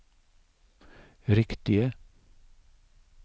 riktige